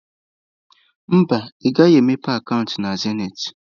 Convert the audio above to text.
Mba, ị gaghị emepe akaụntụ na zenịtị.